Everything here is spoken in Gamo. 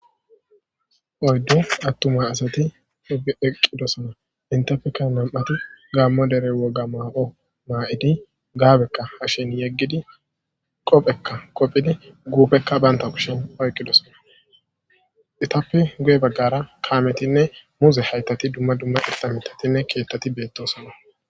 oyddu attuma asati ubi eqqidosona intafekka nam7ati gaammo dere woga maa7o maa7idi gaabekka hashin yeggidi qophekka qophidi guupekka banta kushen oyqqidosona itappe guye baggara kaametinne muuze haytati dumma dumma itta mitatinne keyettati beettosana